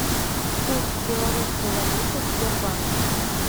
курс белорусской валюты в сбербанке